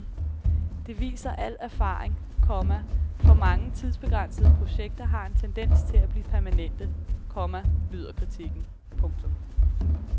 Det viser al erfaring, komma for mange tidsbegrænsede projekter har en tendens til at blive permanente, komma lyder kritikken. punktum